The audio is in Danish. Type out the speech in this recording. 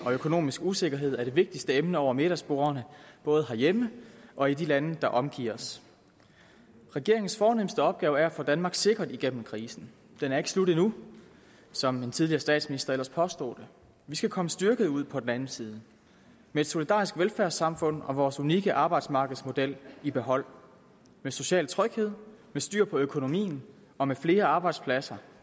og økonomisk usikkerhed er de vigtigste emner over middagsbordene både herhjemme og i de lande der omgiver os regeringens fornemste opgave er at få danmark sikkert igennem krisen den er ikke slut endnu som en tidligere statsminister ellers påstod vi skal komme styrket ud på den anden side med et solidarisk velfærdssamfund og vores unikke arbejdsmarkedsmodel i behold med social tryghed med styr på økonomien og med flere arbejdspladser